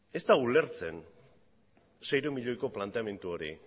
ez da ulertzen seiehun milioiko planteamendu hori